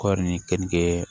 Kɔɔri ni keninke